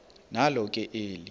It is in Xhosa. nalo ke eli